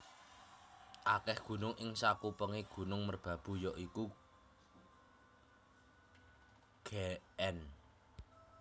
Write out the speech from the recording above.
Akeh gunung ing sakupengé Gunung Merbabu ya iku Gn